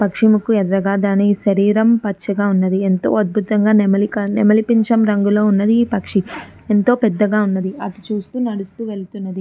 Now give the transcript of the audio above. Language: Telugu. పక్షి ముక్కు ఎర్రగా దాని శేరిరం పచ్చగా ఉన్నది. ఎంతో అద్బుతంగా నెమలి పించం రంగు లో ఉన్నది. ఈ పక్షి ఎంతో పెద్ధగా ఉన్నది అటు చూస్తూ నడుస్తూ వెళుతున్నది.